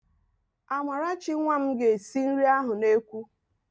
Amarachi nwa m ga-esi nri ahụ n'ekwu